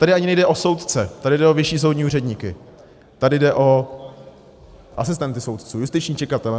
Tady ani nejde o soudce, tady jde o vyšší soudní úředníky, tady jde o asistenty soudců, justiční čekatele.